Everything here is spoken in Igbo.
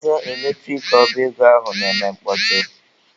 Ọnụ ụzọ eletrik ọba ego ahụ na-eme mkpọtụ.